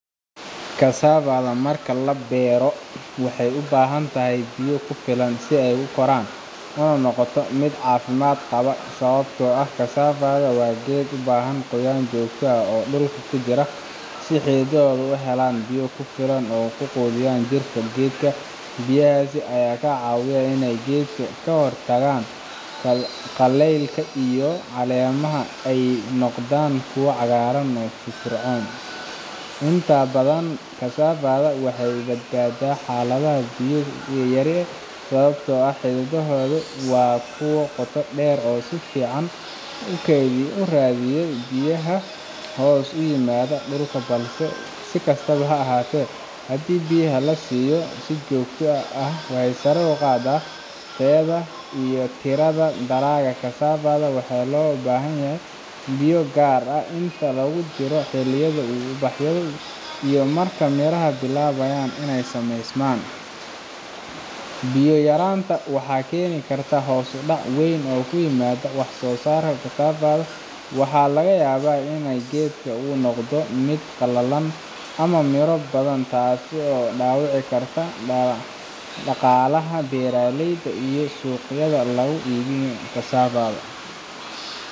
kasafada marka la beero waxay u baahan tahay biyo ku filan si ay u koraan una noqoto mid caafimaad qaba sababtoo ah kasafada waa geed u baahan qoyaan joogto ah oo dhulka ku jira si xididdada u helaan biyo ku filan oo ay quudiyaan jirka geedka biyahaas ayaa ka caawinaya inay geedka ka hortagaan qallaylka iyo in caleemaha ay noqdaan kuwo cagaar iyo firfircoon inta badan kasafada waxay ka badbaadaa xaaladaha biyo yari sababtoo ah xididdadaheedu waa kuwo qoto dheer oo si fiican u raadiya biyaha hoos yimaada dhulka balse si kastaba ha ahaatee haddii biyaha la siiyo si joogto ah waxay sare u qaadaa tayada iyo tirada dalagga kasafada waxay kaloo u baahan tahay biyo gaar ah inta lagu jiro xilliyada uu ubaxayo iyo marka miraha bilaabayaan inay sameysmaan biyo yaraanta waxaa keeni karta hoos u dhac weyn oo ku yimaada wax soo saarka kasafada waxaana laga yaabaa in geedka uu noqdo mid qallalan ama miro la’aan ah taas oo dhaawici karta dhaqaalaha beeraleyda iyo suuqyada lagu iibiyo kasafada